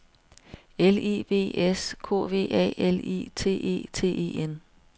L I V S K V A L I T E T E N